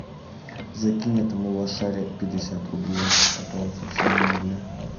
закинь этому лошаре пятьдесят рублей а то он совсем на нуле